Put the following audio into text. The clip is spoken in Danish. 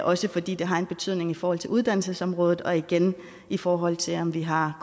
også fordi det har en betydning i forhold til uddannelsesområdet og igen i forhold til om vi har